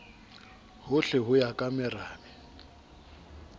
hohle ho ya ka merabe